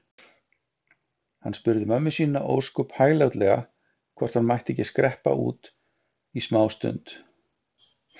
Hann spurði mömmu sína ósköp hæglátlega hvort hann mætti ekki skreppa út smástund.